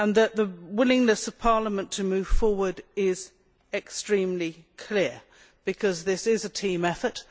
The willingness of Parliament to move forward is extremely clear, because this is a team effort.